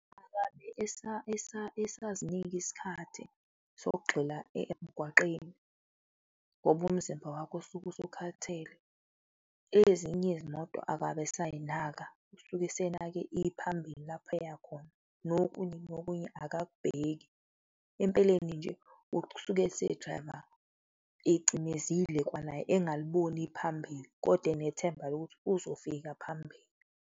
Akabe esazinika isikhathi sokugxila emgwaqeni ngoba umzimba wakhe usuke usukhathele. Ezinye yezimoto akabe esayinaka, usuke esenake iphambili, lapha eya khona nokunye nokunye akakubheki. Empeleni nje, usuke ese-driver ecimezile, kwanaye engaliboni iphambili kodwa enethemba lokuthi uzofika phambili.